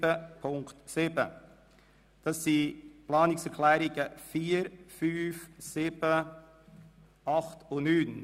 Auf diese beziehen sich die Planungserklärungen 4, 5, 7, 8 und 9.